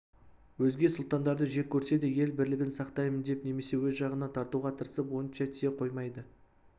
өзге сұлтандарды жек көрсе де ел бірлігін сақтаймын деп немесе өз жағына тартуға тырысып онша тие қоймайды